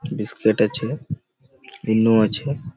biscuit আছে ইন্নো আছে--